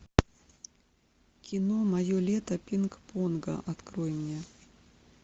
кино мое лето пинг понга открой мне